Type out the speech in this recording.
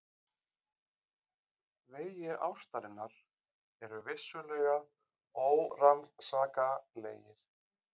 Vegir ástarinnar eru vissulega órannsakanlegir.